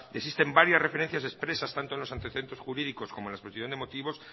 existen varias referencias expresas tanto en los antecedentes jurídicos como en la exposición de motivos